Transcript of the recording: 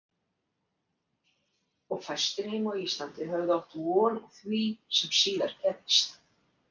Og fæstir heima á Íslandi höfðu átt von á því sem síðan gerðist.